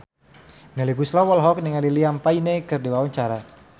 Melly Goeslaw olohok ningali Liam Payne keur diwawancara